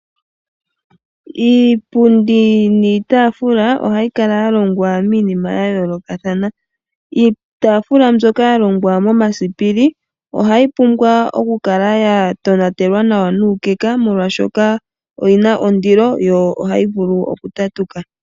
Iipundi niitaafula ohayi kala ya longwa miinima yayoolokathana. Iitaafula mbyoka ya longwa momasipili ohayi kala ya pumbwa oku kala ya tonatelwa nawa nuukeka molwaashoka oyi na ondilo yohayi vulu oku tatuka.